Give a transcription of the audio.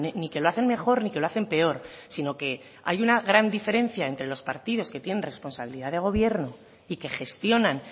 ni que lo hacen mejor ni que lo hacen peor sino que hay una gran diferencia entre los partidos que tienen responsabilidad de gobierno y que gestionan